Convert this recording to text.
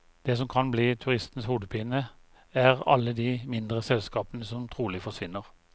Det som kan bli turistenes hodepine, er alle de mindre selskapene som trolig forsvinner.